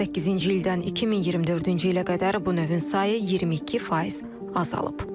2018-ci ildən 2024-cü ilə qədər bu növün sayı 22% azalıb.